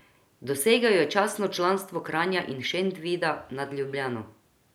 Dosegel je častno članstvo Kranja in Šentvida nad Ljubljano.